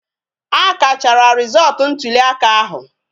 A kachara rizootu ntụli aka ahụ